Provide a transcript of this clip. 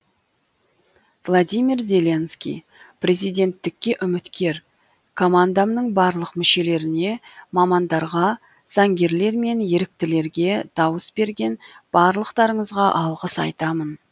владимир зеленский президенттікке үміткер командамның барлық мүшелеріне мамандарға заңгерлер мен еріктілерге дауыс берген барлықтарыңызға алғыс айтамын